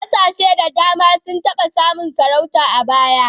Kasashe da dama sun taba samun sarauta a baya.